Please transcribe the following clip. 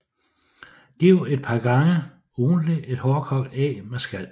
Giv et par gange ugentligt et hårdkogt æg med skal